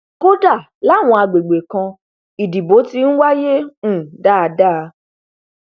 kódà làwọn àgbègbè kan ìdìbò ti ń wáyé um dáadáa